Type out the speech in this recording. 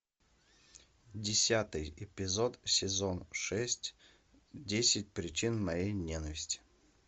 десятый эпизод сезон шесть десять причин моей ненависти